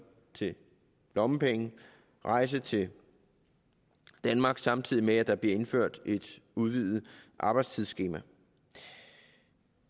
til lommepenge og rejsen til danmark samtidig med at der bliver indført et udvidet arbejdstidsskema vi